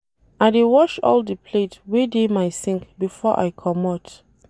I dey wash all di plate wey dey my sink before I comot.